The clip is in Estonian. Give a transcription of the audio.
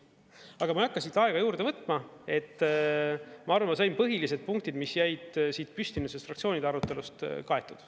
Aga ma ei hakka siin aega juurde võtma, ma arvan, et ma sain põhilised punktid, mis jäid siit püsti nüüd sellest fraktsioonide arutelust, kaetud.